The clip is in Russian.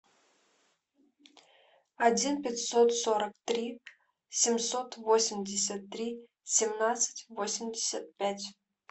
один пятьсот сорок три семьсот восемьдесят три семнадцать восемьдесят пять